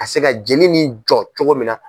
Ka se ka jeli ni jɔ cogo min na.